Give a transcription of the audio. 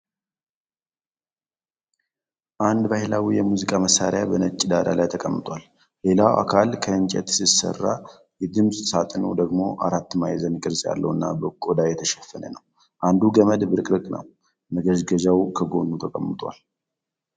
አንድ ባህላዊ የሙዚቃ መሣሪያ በነጭ ዳራ ላይ ተቀምጧል። ሌላው አካል ከእንጨት ሲሰራ፣ የድምፅ ሳጥኑ ደግሞ አራት ማዕዘን ቅርጽ ያለውና በቆዳ የተሸፈነ ነው። አንዱ ገመድ ብርቅርቅ ነው። መገዝገዣው ከጎኑ ተቀምጧል።